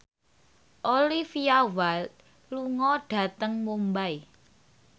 Olivia Wilde lunga dhateng Mumbai